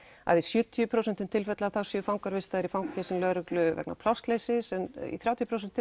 að í sjötíu prósent tilfelli séu fangar vistaðir hjá lögreglu vegna plássleysis en þrjátíu prósent